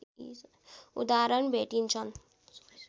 उदाहरण भेटिन्छन्